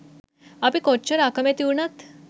අපි කොච්චර අකමැති වුණත්